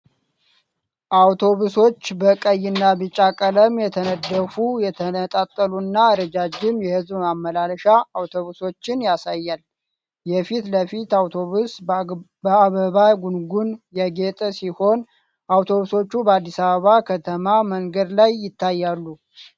አውቶቡሶች በቀይና ቢጫ ቀለም የተነደፉ፣ የተነጣጠሉና ረዣዥም የሕዝብ ማመላለሻ አውቶቡሶችን ያሳያል። የፊት ለፊቱ አውቶቡስ በአበባ ጉንጉን ያጌጠ ሲሆን፣ አውቶቡሶቹ በአዲስ አበባ ከተማ መንገድ ላይ ይታያሉ።